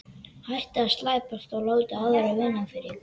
Hættið að slæpast og láta aðra vinna fyrir ykkur.